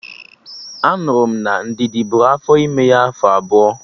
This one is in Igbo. Anụrụ m na Ndidi bụrụ afọ ime ya afọ abụọ